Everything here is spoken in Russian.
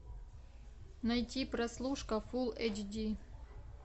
найти прослушка фул эйч ди